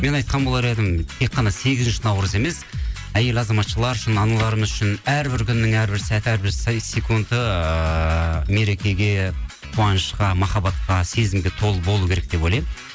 мен айтқан болар едім тек қана сегізінші наурыз емес әйел азаматшалары үшін аналарымыз үшін әрбір күннің әрбір сәті әрбір секунды ыыы мерекеге қуанышқа махаббатқа сезімге толы болу керек деп ойлаймын